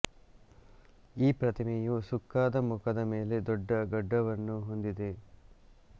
ಈ ಪ್ರತಿಮೆಯು ಸುಕ್ಕಾದ ಮುಖದ ಮೇಲೆ ದೊಡ್ಡ ಗಡ್ಡವನ್ನು ಹೊಂದಿದೆ